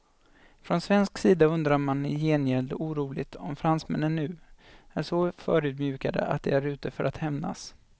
Från svensk sida undrar man i gengäld oroligt om fransmännen nu är så förödmjukade att de är ute för att hämnas.